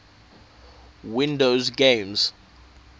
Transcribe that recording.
windows games